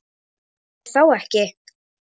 Telurðu þá ekki?